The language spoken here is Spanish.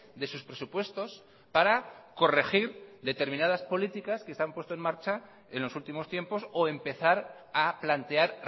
de sus presupuestos para corregir determinadas políticas que se han puesto en marcha en los últimos tiempos o empezar a plantear